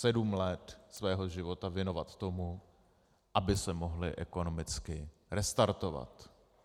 Sedm let svého života věnovat tomu, aby se mohli ekonomicky restartovat.